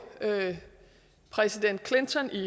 præsident clinton i